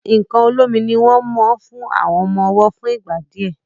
nkán olómi ní wón mo fún àwọn ọmọ ọwo fún ìgbà díẹ.